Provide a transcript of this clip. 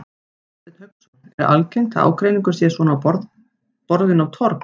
Hafsteinn Hauksson: Er algengt að ágreiningur sé svona borinn á torg?